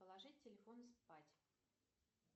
положить телефон спать